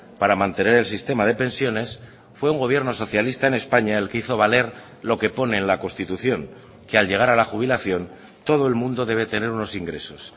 para mantener el sistema de pensiones fue un gobierno socialista en españa el que hizo valer lo que pone en la constitución que al llegar a la jubilación todo el mundo debe tener unos ingresos